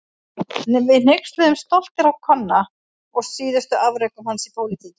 Við hneykslumst stoltir á Konna og síðustu afrekum hans í pólitíkinni.